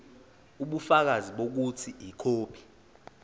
ubufakazi bokuthi ikhophi